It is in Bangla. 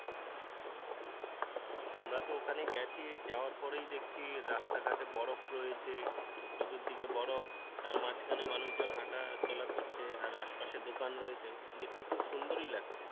আমরা তো ওখানে গেছি যাওয়ার পরেই দেখছি রাস্তা ঘাটে বরফ রয়েছে, চতুর্দিকে বরফ তার মাঝখানে মানুষ জন হাটাচলা করছে আর আশপাশে দোকান রয়েছে, দেখতে খু সুন্দরই লাগছে।